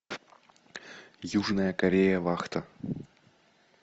южная корея вахта